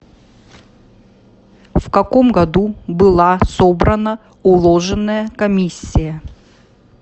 в каком году была собрана уложенная комиссия